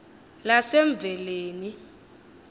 lasemveleni